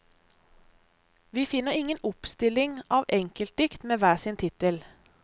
Vi finner ingen oppstilling av enkeltdikt med hver sin tittel.